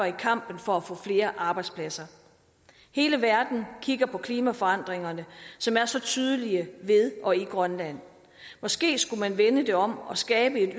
i kampen for at få flere arbejdspladser hele verden kigger på klimaforandringerne som er så tydelige ved og i grønland måske skulle man vende det om og skabe